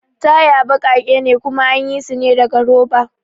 Taya baƙake ne kuma anyi sune daga roba